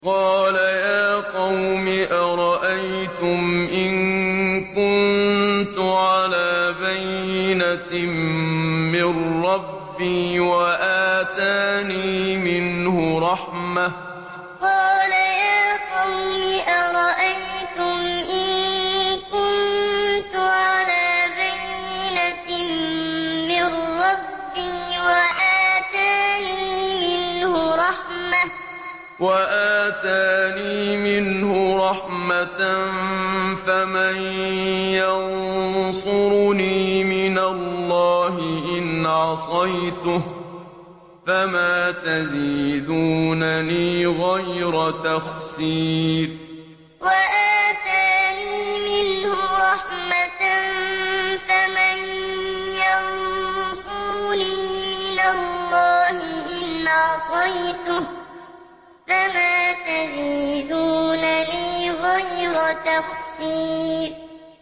قَالَ يَا قَوْمِ أَرَأَيْتُمْ إِن كُنتُ عَلَىٰ بَيِّنَةٍ مِّن رَّبِّي وَآتَانِي مِنْهُ رَحْمَةً فَمَن يَنصُرُنِي مِنَ اللَّهِ إِنْ عَصَيْتُهُ ۖ فَمَا تَزِيدُونَنِي غَيْرَ تَخْسِيرٍ قَالَ يَا قَوْمِ أَرَأَيْتُمْ إِن كُنتُ عَلَىٰ بَيِّنَةٍ مِّن رَّبِّي وَآتَانِي مِنْهُ رَحْمَةً فَمَن يَنصُرُنِي مِنَ اللَّهِ إِنْ عَصَيْتُهُ ۖ فَمَا تَزِيدُونَنِي غَيْرَ تَخْسِيرٍ